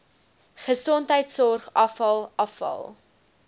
gesondheidsorg afval afval